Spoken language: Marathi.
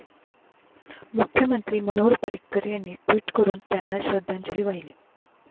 मुख्यमंत्री मनोहर पर्रिकर यांनी ट्वीट करून त्यांना श्रद्धांजली वाहिली.